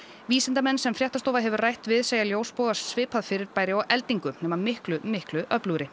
vísindamenn sem fréttastofa hefur rætt við segja ljósboga svipað fyrirbæri og eldingu nema miklu miklu öflugri